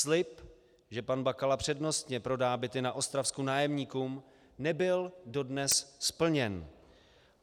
Slib, že pan Bakala přednostně prodá byty na Ostravsku nájemníkům, nebyl dodnes splněn.